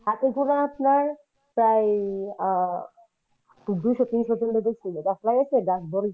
হাতে গোনা আপনার প্রায় আহ দুইশো তিনশো জন লাগাইছিল গাছ বড়